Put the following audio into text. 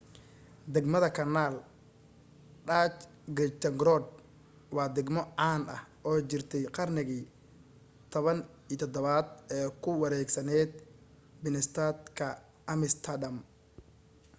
degmada kanaal dutch: grachtengordel waa degmo caan ah oo jirtay qarnigii 17aad oo ku wareegsanayd binnestad ka amsterdam